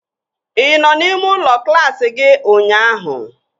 Ị nọ n'ime ụlọ klaasị gị ụnyaahụ?